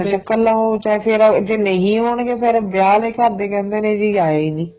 ਕੱਲਾ ਉਹ ਚਾਹੇ ਫੇਰ ਜੇ ਨਹੀਂ ਆਉਣਗੇ ਫੇਰ ਵਿਆਹ ਵਾਲੇ ਘਰਦੇ ਕਹਿੰਦੇ ਨੇ ਜੀ ਆਇਆ ਈ ਨੀ